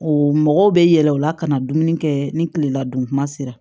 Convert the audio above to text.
O mɔgɔw bɛ yɛlɛ o la ka na dumuni kɛ ni kilela dun kuma sera